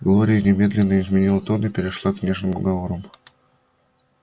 глория немедленно изменила тон и перешла к нежным уговорам